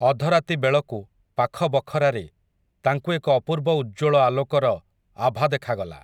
ଅଧରାତି ବେଳକୁ, ପାଖ ବଖରାରେ, ତାଙ୍କୁ ଏକ ଅପୂର୍ବ ଉଜ୍ଜ୍ୱଳ ଆଲୋକର, ଆଭା ଦେଖାଗଲା ।